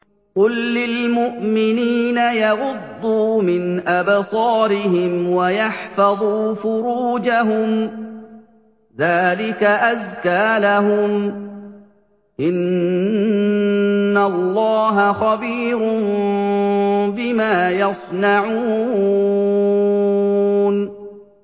قُل لِّلْمُؤْمِنِينَ يَغُضُّوا مِنْ أَبْصَارِهِمْ وَيَحْفَظُوا فُرُوجَهُمْ ۚ ذَٰلِكَ أَزْكَىٰ لَهُمْ ۗ إِنَّ اللَّهَ خَبِيرٌ بِمَا يَصْنَعُونَ